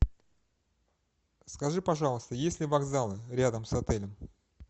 скажи пожалуйста есть ли вокзал рядом с отелем